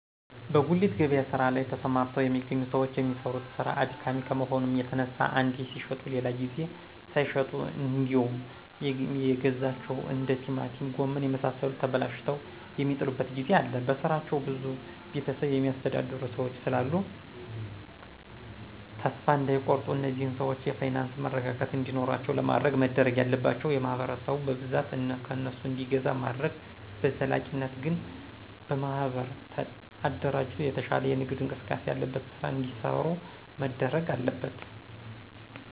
በጉሊት ገበያ ስራ ላይ ተሰማርተው የሚገኙ ሰዎች የሚሰሩት ስራ አድካሚ ከመሆኑ የተነሳ አንዴ ሲሽጡ ሌላ ጊዜ ሳይሸጡ እንዴውም የገዟቸው እንደ ቲማቲም ጎመን የመሳሰሉት ተበላሽተው የሚጥሉበት ጊዜ አለ በስራቸው ብዙ ቤተሰብ የሚያስተዳድሩ ሰዎች ስላሉ ተሰፋ እዳይቆርጡ እነዚህን ሰዎች የፋይናንስ መረጋጋት እንዲኖራቸው ለማድረግ መደረግ ያለባቸው ማህበረሰቡ በብዛት ከእነሱ እንዲገዛ ማድረግ በዘላቂነት ግን በማህበር አደራጅቶ የተሻለ የንግድ እንቅስቃሴ ያለበት ስራ እዲሰሩ መደረግ አለበት።